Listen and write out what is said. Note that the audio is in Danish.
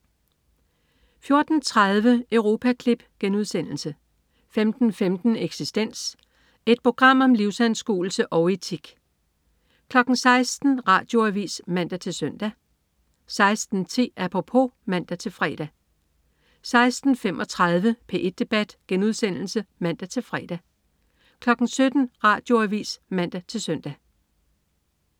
14.30 Europaklip* 15.15 Eksistens. Et program om livsanskuelse og etik 16.00 Radioavis (man-søn) 16.10 Apropos (man-fre) 16.35 P1 debat* (man-fre) 17.00 Radioavis (man-søn)